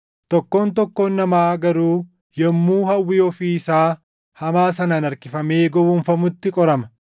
tokkoon tokkoon namaa garuu yommuu hawwii ofii isaa hamaa sanaan harkifamee gowwoomfamutti qorama.